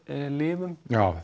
lifum já